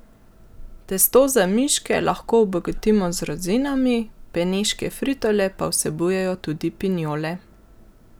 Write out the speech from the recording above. Testo za miške lahko obogatimo z rozinami, beneške fritole pa vsebujejo tudi pinjole.